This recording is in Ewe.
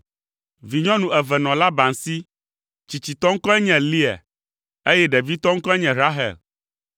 Vinyɔnu eve nɔ Laban si. Tsitsitɔ ŋkɔe nye Lea, eye ɖevitɔ ŋkɔe nye Rahel.